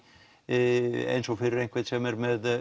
eins og fyrir einhvern sem er með